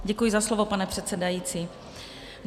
Děkuji za slovo, pane předsedající.